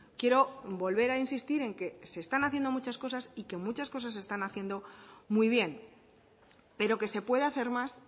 quiero volver a insistir en que se están haciendo muchas cosas y que muchas cosas se están haciendo muy bien pero que se puede hacer más